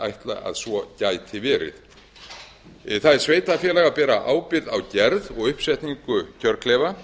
ætla að svo gæti verið það er sveitarfélaga að bera ábyrgð á gerð og uppsetningu kjörklefa